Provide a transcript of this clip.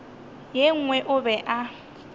ye nngwe o be a